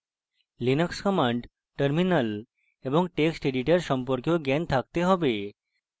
linux commands terminal এবং texteditor সম্পর্কেও জ্ঞান থাকতে have